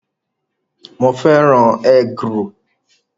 Mo fẹ́ràn egg-roll